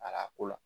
ko la